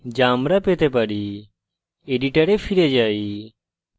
editor ফিরে যাই